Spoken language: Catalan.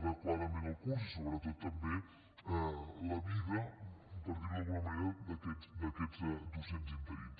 adequadament el curs i sobretot també la vida per dir ho d’alguna manera d’aquests docents interins